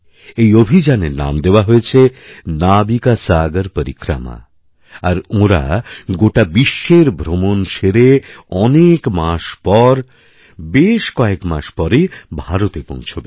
এই অভিযানের নাম দেওয়া হয়েছে নাবিকাসাগর পরিক্রমা আর ওঁরা গোটা বিশ্বের ভ্রমণ সেরে অনেক মাসের পর বেশ কয়েক মাস পরেভারতে পৌঁছবে